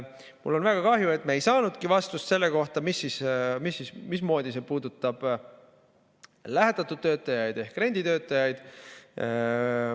Mul on väga kahju, et me ei saanudki vastust selle kohta, mismoodi see puudutab lähetatud töötajaid ehk renditöötajaid.